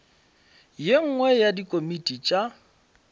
ye nngwe ya dikomiti tša